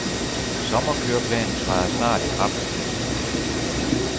Sommerkøreplanen træder snart i kraft. punktum